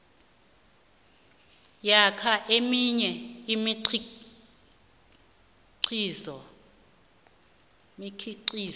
namkha eminye imikhiqizo